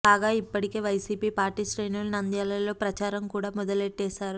కాగా ఇప్పటికే Y C P party శ్రేణులు నంద్యాలలో ప్రచారం కూడా మొదలెట్టేశారు